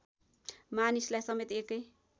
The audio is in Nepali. मानिसलाई समेत एकै